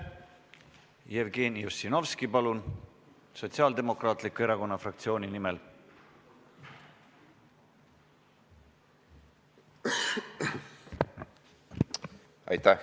Jevgeni Ossinovski Sotsiaaldemokraatliku Erakonna fraktsiooni nimel, palun!